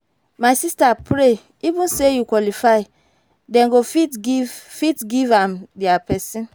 my sister pray even say you qualify den go fit give fit give am their person.